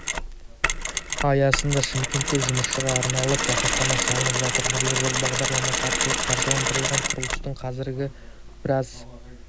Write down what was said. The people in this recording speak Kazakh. аясында шымкентте жұмысшыға арналып жатақхана салынып жатыр нұрлы жол бағдарламасы арқылы қаржыландырылған құрылыстың қазір біраз